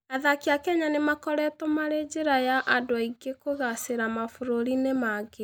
Athaki a Kenya nĩ makoretwo marĩ njĩra ya andũ aingĩ kũgaacĩra mabũrũri-inĩ mangĩ.